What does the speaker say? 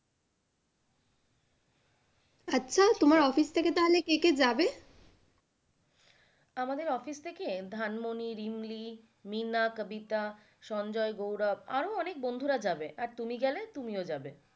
আচ্ছা তোমার office থেকে তাহলে কে কে যাবে? আমাদের office থেকে ধানমনী, রিমলী, মীনা, কবিতা, সঞ্জয়, গৌরব আরো অনেক বন্ধুরা যাবে আর তুমি গেলে তুমিও যাবে।